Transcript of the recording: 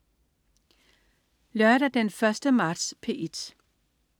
Lørdag den 1. marts - P1: